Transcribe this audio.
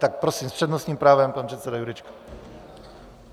Tak prosím, s přednostním právem pan předseda Jurečka.